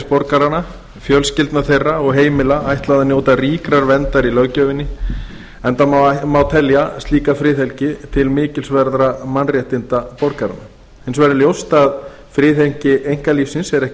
borgaranna fjölskyldna þeirra og heimila ætlað að njóta ríkrar verndar í löggjöfinni enda má telja slíka friðhelgi til mikilsverðra mannréttinda borgaranna hins vegar er ljóst að friðhelgi einkalífsins er ekki